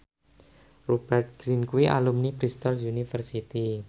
Rupert Grin kuwi alumni Bristol university